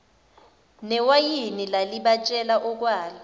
newayini lalibatshela okwalo